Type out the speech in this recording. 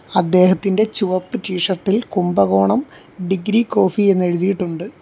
അദ്ദേഹത്തിൻ്റെ ചുവപ്പ് T shirt ഇൽ കുംഭകോണം ഡിഗ്രി കോഫി എന്നെഴുതിയിട്ടുണ്ട്.